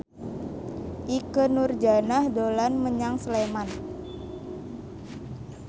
Ikke Nurjanah dolan menyang Sleman